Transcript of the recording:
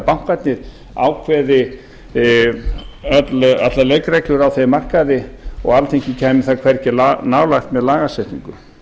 bankarnir ákveði allar leikreglur á þeim markaði og alþingi kæmi þar hvergi nálægt með lagasetningu